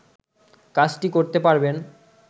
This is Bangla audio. কাজটি করতে পারবেন